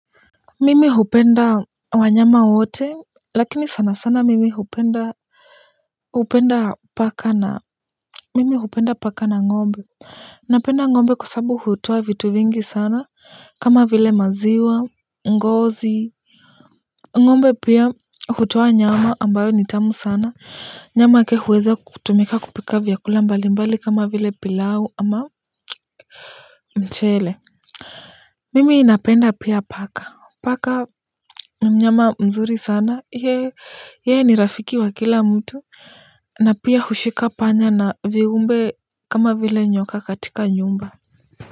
Mimi hupenda wanyama wote lakini sana sana mimi hupenda hupenda paka na mimi hupenda paka na ng'ombe. Napenda ng'ombe kwa sabu hutoa vitu vingi sana kama vile maziwa ngozi. Ng'ombe pia hutoa nyama ambayo nitamu sana. Nyama yake huweza kutumika kupika vyakula mbali mbali kama vile pilau ama mchele. Mimi napenda pia paka. Paka ni mnyama mzuri sana. Ye yeye ni rafiki wa kila mtu. Na pia hushika panya na viumbe kama vile nyoka katika nyumba.